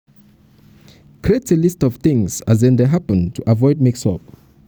create a list of things as things as dem dey happen to avoid mix up